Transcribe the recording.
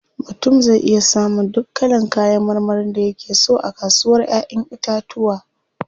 Mutum zai iya samun duk kalan kayan marmarin da yake so a kasuwar Ƴaƴan itatuwa.